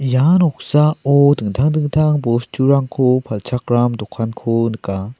ia noksao dingtang dingtang bosturangko palchakram dokanko nika.